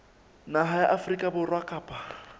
naha ya afrika borwa kapa